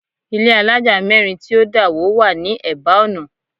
Ilé àlája mẹ́rin tí ó dà wó wá ní eba ọ̀nà